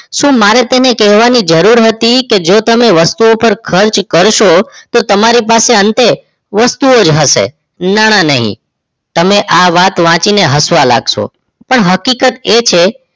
શું મારે તેને કહેવાની જરૂર હતી કે જો તમે વસ્તુ પર ખર્ચ કરશો તો તમારી પાસે અંતે વસ્તુ જ હશે નાણાં નહિ તમે આ વાત વાંચી હસવા લાગશો પણ હકીકત એ છે